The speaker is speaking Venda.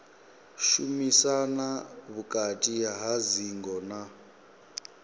shumisana vhukati ha dzingo na